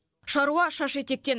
шаруа шаш етектен